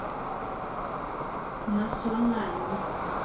maswanganyi